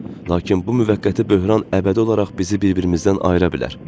Lakin bu müvəqqəti böhran əbədi olaraq bizi bir-birimizdən ayıra bilər.